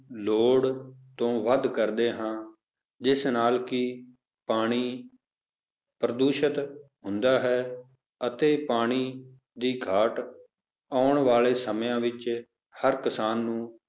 ਲੋੜ ਤੋਂ ਵੱਧ ਕਰਦੇ ਹਾਂ ਜਿਸ ਨਾਲ ਕਿ ਪਾਣੀ ਪਾਣੀ ਪ੍ਰਦੂਸ਼ਿਤ ਹੁੰਦਾ ਹੈ ਅਤੇ ਪਾਣੀ ਦੀ ਘਾਟ ਆਉਣ ਵਾਲੇ ਸਮਿਆਂ ਵਿੱਚ ਹਰ ਕਿਸਾਨ ਨੂੰ